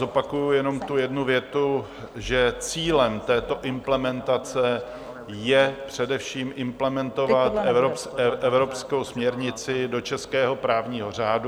Zopakuji jenom tu jednu větu, že cílem této implementace je především implementovat evropskou směrnici do českého právního řádu.